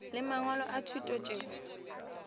le mangwalo a thuto tšeo